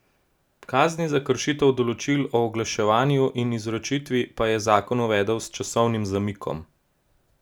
Kazni za kršitev določil o oglaševanju in izročitvi pa je zakon uvedel s časovnim zamikom.